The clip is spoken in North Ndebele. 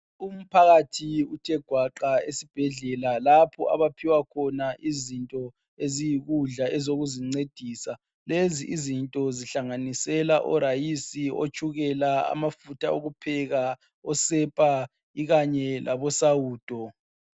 Umphakathi uthe gaqa esibhendlela lapho abaphiwa khona izinto eziyikudla ezokuzincedisa. Lezi izinto zihlanganisela orayisi, otshukela, amafutha okupheka, osepa kanye lesawudo.